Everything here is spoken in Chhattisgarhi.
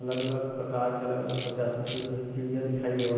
अलग अलग प्रकर के अलग - अलग प्रजाति के जो हे चिड़िया दिखई देवत --